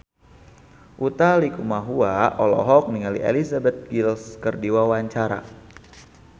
Utha Likumahua olohok ningali Elizabeth Gillies keur diwawancara